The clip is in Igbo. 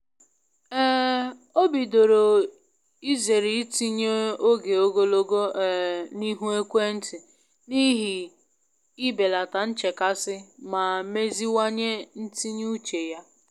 um O bidoro izere itinye oge ogologo um n’ihu ekwentị n'ihi i belata nchekasị ma meziwanye ntinye uche ya.